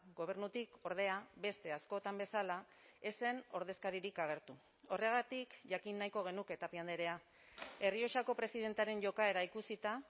gobernutik ordea beste askotan bezala ez zen ordezkaririk agertu horregatik jakin nahiko genuke tapia andrea errioxako presidentearen jokaera ikusita